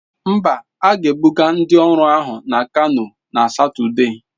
Mba, a ga-ebuga ndị ọrụ ahụ na Kanu na Satọde.